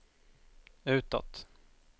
utåt